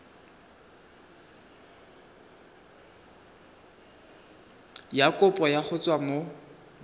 ya kopo go tswa mo